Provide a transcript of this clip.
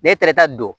Ne taara ka don